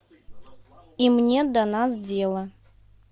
им нет до нас дела